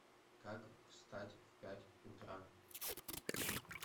как встать в пять утра